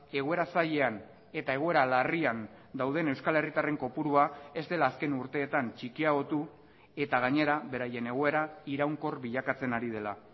egoera zailean eta egoera larrian dauden euskal herritarren kopurua ez dela azken urteetan txikiagotu eta gainera beraien egoera iraunkor bilakatzen ari dela